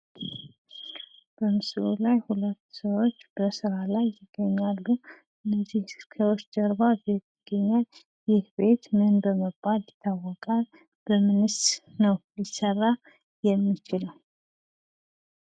ምስሉ ላይ ሁለት ሰዎች በስራ ላይ ይገኛሉ። ከነዚህ ሰዎች ጀርባ ቤት ይገኛል። ይህ ቤት ምን በመባል ይታወቃል? በምንስ ነው ሊሰራ የሚችለው?